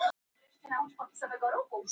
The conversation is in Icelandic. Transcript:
Nú varð lögn þögn við borðið.